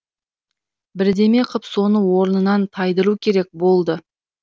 бірдеме қып соны орнынан тайдыру керек болды